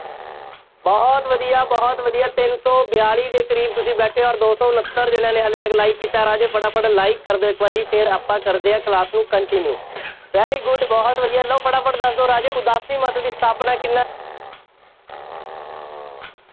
ਬਹੁਤ ਵਧੀਆ, ਬਹੁਤ ਵਧੀਆ, ਤਿੰਨ ਸੌ ਬਿਆਲੀ ਦੇ ਕਰੀਬ ਤੁਸੀਂ ਬੈਠੇ ਹੋ ਅੋਰ ਦੋ ਸੌ ਉਨੱਤਰ ਜਣਿਆਂ ਨੇ ਹਾਲੇ ਤੱਕ like ਕੀਤਾ ਰਾਜੇ, ਫਟਾਫਟ like ਕਰ ਦਿਓ, ਇਕ ਵਾਰੀ ਫੇਰ ਆਪਾਂ ਕਰਦੇ ਹਾਂ class ਨੂੰ continue, very good ਬਹੁਤ ਵਧੀਆ ਲਓ ਫਟਾਫਟ ਦੱਸ ਦਿਓ ਰਾਜੇ, ਉਦਾਸੀ ਮੱਤ ਦੀ ਸਥਾਪਨਾ ਕਿੰਨਾ